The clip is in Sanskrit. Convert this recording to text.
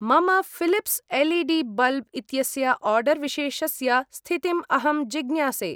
मम फिलिप्स् एल्.ई.डी.बल्ब् इत्यस्य आर्डर् विशेषस्य स्थितिम् अहं जिज्ञासे।